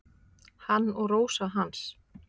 Hann og Rósa hans.